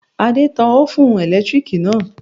Adé tan ófùn ẹ̀lẹ́tíríkì náà